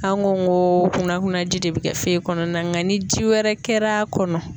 An ko n ko kunna kuna ji de bɛ kɛ fe kɔnɔna nga ni ji wɛrɛ kɛr'a kɔnɔ